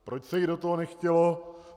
Proč se jí do toho nechtělo?